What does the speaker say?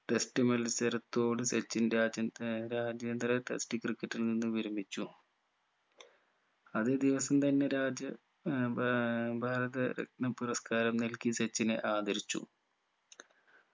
test മത്സരത്തോട് സച്ചിൻ രാജ്യൻ ഏർ രാജ്യാന്തര test ക്രിക്കറ്റിൽ നിന്നും വിരമിച്ചു അതെ ദിവസം തന്നെ രാജ്യ ഏർ ഭാ ഭാരത രത്‌നം പുരസ്കാരം നൽകി സച്ചിനെ ആദരിച്ചു